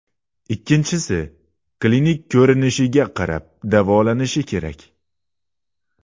ikkinchisi - klinik ko‘rinishiga qarab davolanishi kerak.